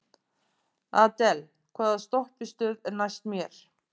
Adel, hvaða stoppistöð er næst mér?